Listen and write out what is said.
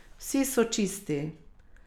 Vsi so čisti.